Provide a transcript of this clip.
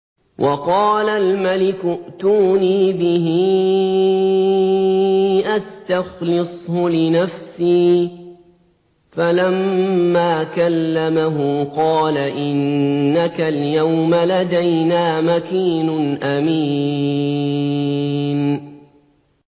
وَقَالَ الْمَلِكُ ائْتُونِي بِهِ أَسْتَخْلِصْهُ لِنَفْسِي ۖ فَلَمَّا كَلَّمَهُ قَالَ إِنَّكَ الْيَوْمَ لَدَيْنَا مَكِينٌ أَمِينٌ